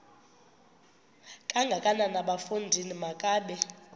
kangakanana bafondini makabe